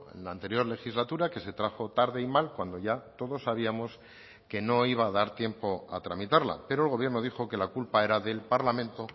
en la anterior legislatura que se trajo tarde y mal cuando ya todos sabíamos que no iba a dar tiempo a tramitarla pero el gobierno dijo que la culpa era del parlamento